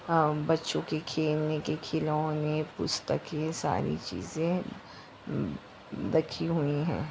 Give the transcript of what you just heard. अ बच्चो के खेलने के खिलौना पुस्तके सारी चीजे बची हुई हैं।